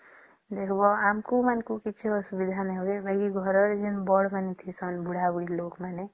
ଦେଖିବା ଆମକୁ ମନକୁ କିଛି ଅସୁବିଧା ନାଇଁ ହୁଏ ବାକି ଘର ଜେଏସଏ ଥିବେ ବଡ଼ ଲୋକ ମାନେ ବୁଢା ବୁଢ଼ୀ ମାନେ